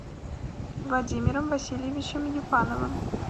владимиром васильевичем ефановым